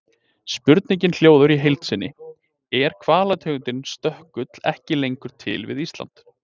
Spurningin hljóðar í heild sinni: Er hvalategundin stökkull ekki lengur til við Ísland?